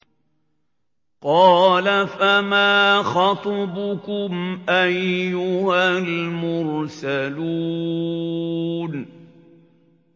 قَالَ فَمَا خَطْبُكُمْ أَيُّهَا الْمُرْسَلُونَ